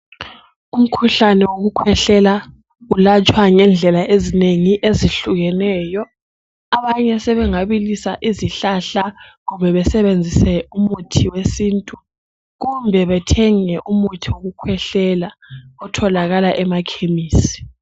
Umkhuhlane wokukhwehlela ulatshwa ngendlela ezinengi ezehlukeneyo abanye sebengabilisa izihlahla kumbe besebenzise umuthi wesintu kumbe bethenge umuthi wokukhwehlela otholakala emakhemisi.